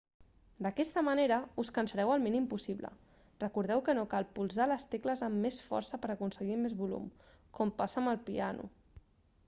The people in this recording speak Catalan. d'aquesta manera us cansareu el mínim possible recordeu que no cal polsar les tecles amb més força per aconseguir més volum com passa amb el piano